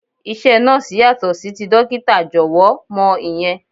Iṣẹ́ Nọ́ọ̀sì yàtọ̀ sí ti dókítà, jọ̀wọ́ mọ ìyẹn.